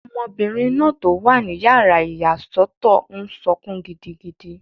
Ọmọbìnrin náà tó wà ní yàrá ìyàsọ́tọ̀ n sọkún gidigidi